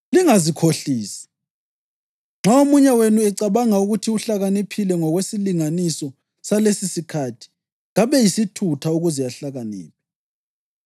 Lingazikhohlisi. Nxa omunye wenu ecabanga ukuthi uhlakaniphile ngokwesilinganiso salesisikhathi kabe yisithutha ukuze ahlakaniphe.